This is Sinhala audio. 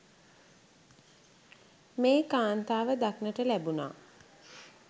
මේ කාන්තාව දකින්නට ලැබුනා.